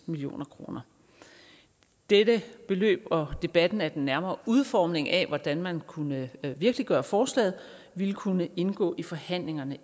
million kroner dette beløb og debatten om den nærmere udformning af hvordan man kunne virkeliggøre forslaget ville kunne indgå i forhandlingerne